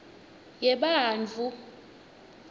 yebantfu